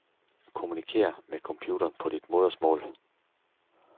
Kommunikér med computeren på dit modersmål.